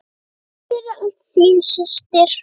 Takk fyrir allt, þín systir.